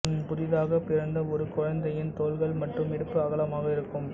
புதிதாக பிறந்த ஒரு குழந்தையின் தோள்கள் மற்றும் இடுப்பு அகலமாக இருக்கும்